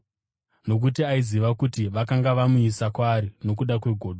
Nokuti aiziva kuti vakanga vamuisa kwaari nokuda kwegodo.